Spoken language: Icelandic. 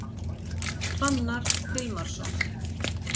Fannar Hilmarsson